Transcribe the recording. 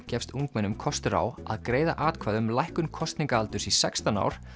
gefst ungmennum kostur á að greiða atkvæði um lækkun kosningaaldurs í sextán ár